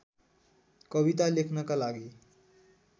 कविता लेख्नका लागि